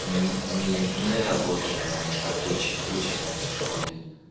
не мы работали на их к куче учат нас в школе